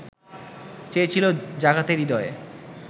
চেয়েছিলো জাগাতে হৃদয়